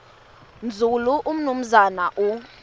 nzulu umnumzana u